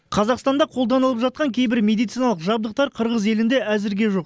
қазақстанда қолданылып жатқан кейбір медициналық жабдықтар қырғыз елінде әзірге жоқ